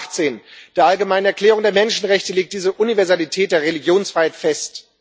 Artikel 18 der Allgemeinen Erklärung der Menschenrechte legt diese Universalität der Religionsfreiheit fest.